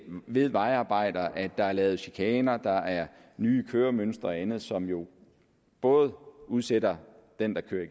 ved vejarbejder at der er lavet chikaner der er nye køremønstre og andet som jo både udsætter den der kører